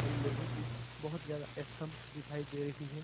लोहे की बहुत ज्यादा स्तंभ दिखाई दे रही है।